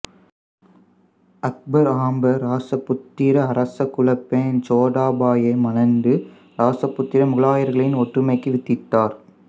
அக்பர் ஆம்பர் இராசபுத்திர அரச குலப் பெண் ஜோத்தாபாய்யை மணந்து இராசபுத்திர முகலாயர்களின் ஒற்றுமைக்கு வித்திட்டார்